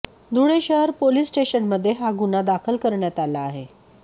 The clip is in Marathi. धुळे शहर पोलीस स्टेशनमध्ये हा गुन्हा दाखल करण्यात आला आहे